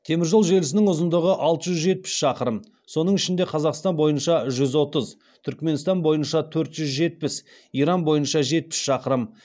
темір жол желісінің ұзындығы алты жүз жетпіс шақырым соның ішінде қазақстан бойынша жүз отыз түрікменстан бойынша төрт жүз жетпіс иран бойынша жетпіс шақырым